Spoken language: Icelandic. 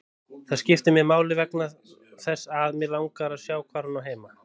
Það skiptir máli vegna þess að mig langar að sjá hvar hún á heima.